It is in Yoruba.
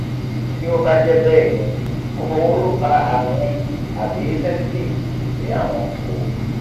ti o ba je beeni kokoro wo lo fa arun ye abi sensitive si awon kokoro